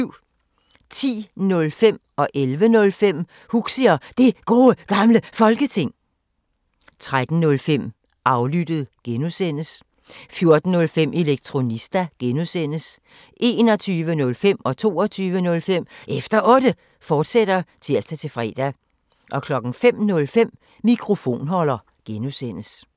10:05: Huxi og Det Gode Gamle Folketing 11:05: Huxi og Det Gode Gamle Folketing, fortsat 13:05: Aflyttet G) 14:05: Elektronista (G) 21:05: Efter Otte, fortsat (tir-fre) 22:05: Efter Otte, fortsat (tir-fre) 05:05: Mikrofonholder (G)